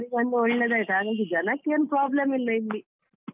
ಅವ್ರಿಗೊಂದು ಒಳ್ಳೇದಾಯ್ತು ಹಾಗಾಗಿ ಜನಕ್ಕೇನೂ problem ಇಲ್ಲ ಇಲ್ಲಿ.